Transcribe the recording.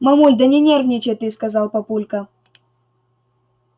мамуль да не нервничай ты сказал папулька